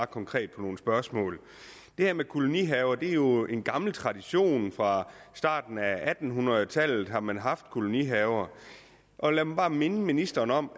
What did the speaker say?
konkret på nogle spørgsmål det her med kolonihaver er jo en gammel tradition fra starten af atten hundrede tallet har man haft kolonihaver og lad mig bare minde ministeren om